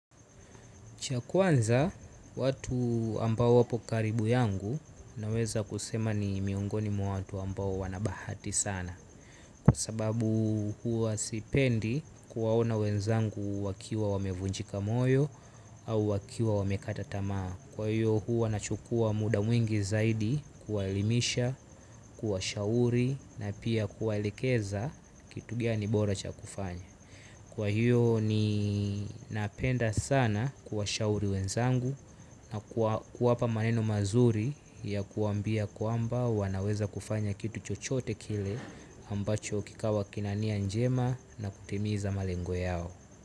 Cha kwanza, watu ambao wapo karibu yangu naweza kusema ni miongoni mwa watu ambao wanabahati sana. Kwa sababu huwa sipendi kuwaona wenzangu wakiwa wamevunjika moyo au wakiwa wamekata tamaa. Kwa hiyo huwa nachukua muda mwingi zaidi kuwaelimisha, kuwashauri na pia kuwaelikeza kitu gani bora cha kufanya. Kwa hiyo ninapenda sana kuwashauri wenzangu na kuwapa maneno mazuri ya kuwambia kwamba wanaweza kufanya kitu chochote kile ambacho kikawa kina nia njema na kutimiza malengo yao.